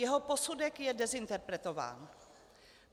Jeho posudek je dezinterpretován.